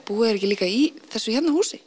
búa þeir ekki líka í þessu hérna húsi